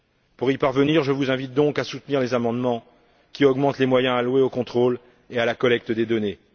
Pour y parvenir, je vous invite donc à soutenir les amendements qui augmentent les moyens alloués aux contrôles et à la collecte des données.